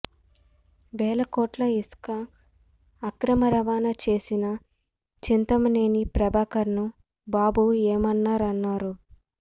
వేల కోట్ల ఇసుక అక్రమ రవాణా చేసిన చింతమనేని ప్రభాకర్ ను బాబు ఏమనరన్నారు